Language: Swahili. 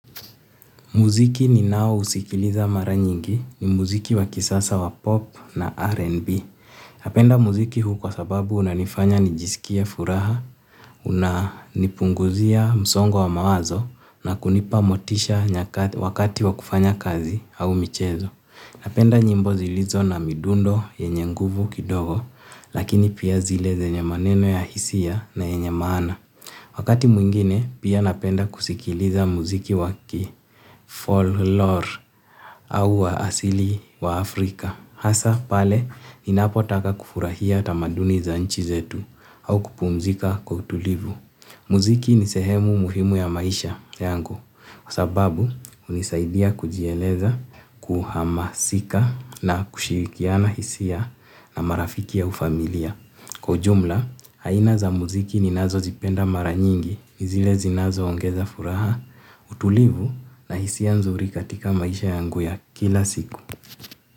Muziki ninaousikiliza mara nyingi ni muziki wa kisasa wa pop na R&B. Napenda muziki huu kwa sababu unanifanya nijisikie furaha, unanipunguzia msongo wa mawazo na kunipa motisha wakati wa kufanya kazi au michezo. Napenda nyimbo zilizo na midundo yenye nguvu kidogo lakini pia zile zenye maneno ya hisia na yenye maana. Wakati mwingine, pia napenda kusikiliza muziki waki fall lore au wa asili wa Afrika. Hasa pale, ninapotaka kufurahia tamaduni za nchi zetu au kupumzika kwa utulivu. Muziki ni sehemu muhimu ya maisha yangu. Kwa sababu, hunisaidia kujieleza, kuhamasika na kushirikiana hisia na marafiki au familia. Kwa ujumla, aina za muziki ninazozipenda mara nyingi ni zile zinazoongeza furaha, utulivu na hisia nzuri katika maisha yangu ya kila siku.